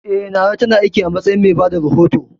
Eh, Nana ta na aiki a matsayin mai bada rahoto